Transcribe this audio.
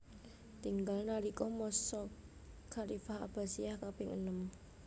Tinggal nalika masa khalifah Abbasiyah kaping enem